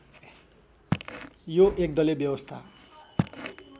यो एकदलीय व्यवस्था